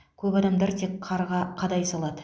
көп адамдар тек қарға қадай салады